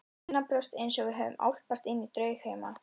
Mér var innanbrjósts einsog við hefðum álpast inní draugheima.